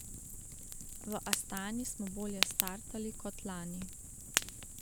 V Astani smo bolje startali kot lani.